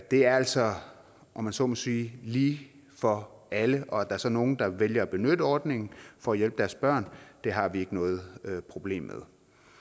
det er altså om man så må sige lige for alle og at der så er nogle der vælger at benytte ordningen for at hjælpe deres børn har vi ikke noget problem med